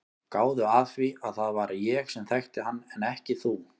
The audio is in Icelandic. Gáðu að því að það var ég sem þekkti hann en ekki þú.